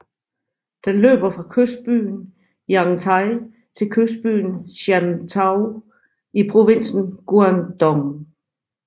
Den løber fra kystbyen Yantai til kystbyen Shantou i provinsen Guangdong